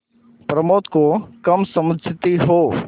प्रमोद को कम समझती हो